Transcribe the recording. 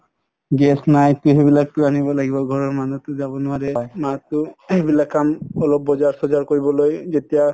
gas নাই সেইবিলাক gas তো আনিব লাগি ঘৰৰ মানুহতো যাব নোৱাৰে মা তো সেইবিলাক কাম অলপ বজাৰ চজাৰ কৰিবলৈ যেতিয়া